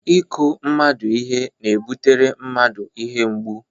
Ịkụ mmadụ ihe na-ebutere mmadụ ihe mgbu.